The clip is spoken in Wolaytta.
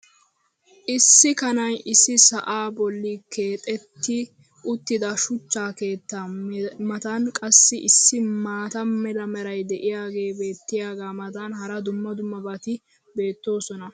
Issi kanay issi sa"aa boli keexetti uttida shuchcha keettaa matan qassi issi maata mala meray diyaagee beetiyaagaa matan hara dumma dummabati beetoosona.